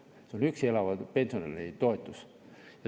See on üksi elava pensionäri toetus.